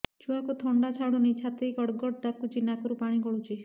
ଛୁଆକୁ ଥଣ୍ଡା ଛାଡୁନି ଛାତି ଗଡ୍ ଗଡ୍ ଡାକୁଚି ନାକରୁ ପାଣି ଗଳୁଚି